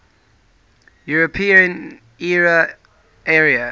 european economic area